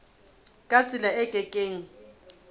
ka tsela e ke keng